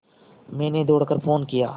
मैंने दौड़ कर फ़ोन किया